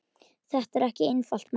Þetta er ekki einfalt mál.